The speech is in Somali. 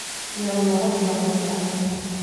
Yaa lahadhlahaya?